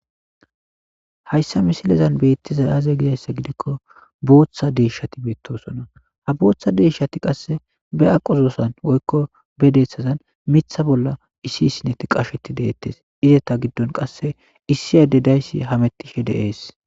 Hayssa misilezan beettiza aaze gizayssa gidikko booththa deeshshati beettosona ha booththa deeshati qasse be aqozoosan woykko be deeththazan mitha bolla issi isineti qasheti deettes izeta giddon qasse issi ade dayssi hamettishe deees.